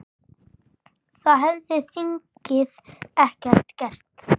Það hefði þingið ekki gert.